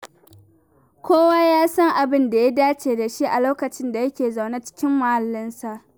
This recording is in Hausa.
Kowa ya san abin da ya dace da shi a lokacin da yake zaune cikin muhallinsa.